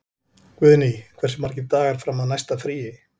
Guðný, hversu margir dagar fram að næsta fríi?